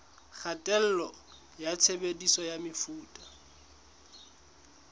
kgatello ya tshebediso ya mefuta